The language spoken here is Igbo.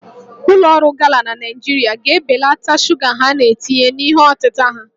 Ụlọ ọrụ Gala na Naịjirịa ga-ebelata shuga ha na-etinye na ihe ọtịta ha